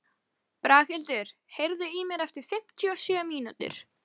Þeir þyrptust að mér einsog flugur.